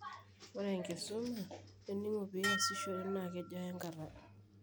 ore enkisuma eningo piasishore na kejo aya enkata.